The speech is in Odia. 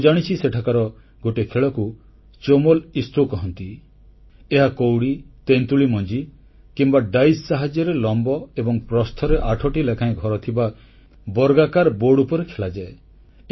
ମୁଁ ଜାଣିଛି ସେଠାକାର ଗୋଟିଏ ଖେଳକୁ ଚୋମଲ ଇସ୍ରୋ କହନ୍ତି ଏହା କଉଡ଼ି ତେନ୍ତୁଳି ମଞ୍ଜି କିମ୍ବା ୟସମର ସାହାଯ୍ୟରେ ଲମ୍ବ ଏବଂ ପ୍ରସ୍ଥରେ ଆଠଟି ଲେଖାଏଁ ଘରଥିବା ବର୍ଗାକାର ବୋର୍ଡ ଉପରେ ଖେଳାଯାଏ